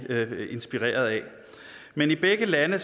inspireret af men i begge lande